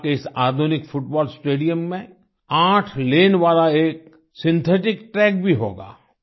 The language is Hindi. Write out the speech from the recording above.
लड़ख के इस आधुनिक फुटबॉल स्टेडियम में 8 लाने वाला एक सिंथेटिक ट्रैक भी होगा